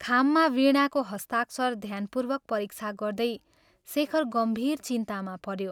खाममा वीणाको हस्ताक्षर ध्यानपूर्वक परीक्षा गर्दै शेखर गम्भीर चिन्तामा पऱ्यो ।